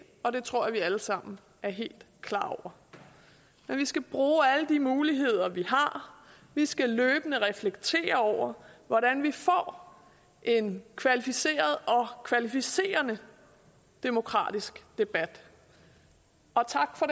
og det tror jeg vi alle sammen er helt klar over men vi skal bruge alle de muligheder vi har vi skal løbende reflektere over hvordan vi får en kvalificeret og kvalificerende demokratisk debat og tak for